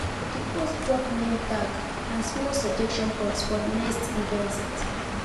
di host drop name tag and small suggestion box for next events